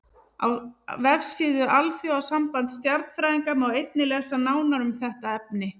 Á vefsíðu Alþjóðasambands stjarnfræðinga má einnig lesa nánar um þetta efni.